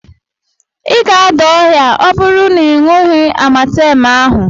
Ị ga-ada ọrịa ọ bụrụ na ị ṅughị Amatemu ahụ.